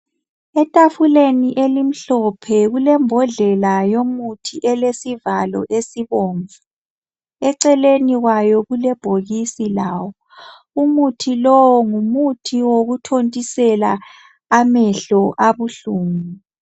Etafuleni emhlophe kulembodlela yomuthi elesivalo esibomvu. Eceleni kwawo kulebhokisi lawo. Umuthi lowu ngokuthontisela amehlo abuhlungu.